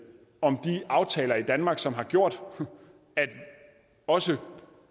om de aftaler i danmark som har gjort at også